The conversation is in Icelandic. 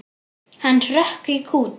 Hann hrökk í kút.